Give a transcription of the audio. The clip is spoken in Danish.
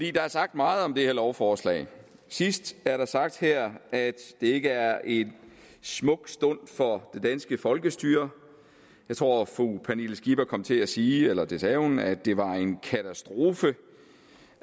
er sagt meget om det her lovforslag sidst er der sagt her at det ikke er en smuk stund for det danske folkestyre jeg tror at fru pernille skipper kom til at sige eller det sagde hun at det var en katastrofe